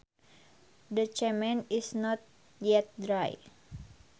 The cement is not yet dry